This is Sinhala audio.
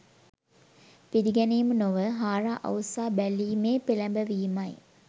පිළිගැනීම නොව හාරා අවුස්සා බැලීමේ පෙළැඹවීමයි.